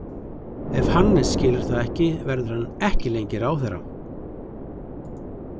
Ef Hannes skilur það ekki verður hann ekki lengi ráðherra.